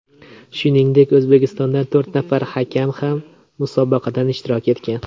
Shuningdek, O‘zbekistondan to‘rt nafar hakam ham musobaqada ishtirok etgan.